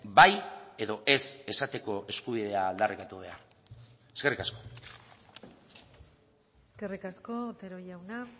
bai edo ez esateko eskubidea aldarrikatu behar eskerrik asko eskerrik asko otero jauna